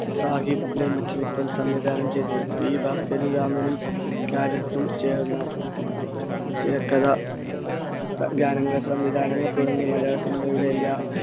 സാഹിബ് നിർമ്മിച്ച ചിത്രം സംവിധാനം ചെയ്തത്. P ഭാസ്കരരാമനും ചേർന്ന തിരക്കഥ, ഗ~ഗാനങ്ങൾ, സംവിധാനങ്ങൾ തുടങ്ങി മലയാള cinema യുടെ എല്ലാ